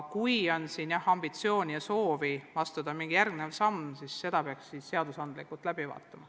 Kui aga on ambitsiooni ja soovi astuda mingi järgmine samm, siis selle peaks seadusandlikult läbi vaatama.